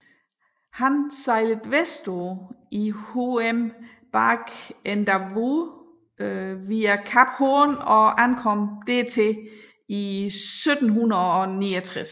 Han sejlede vestpå i HM Bark Endeavour via Kap Horn og ankom dertil i 1769